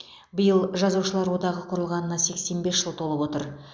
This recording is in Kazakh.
биыл жазушылар одағы құрылғанына сексен бес жыл толып отыр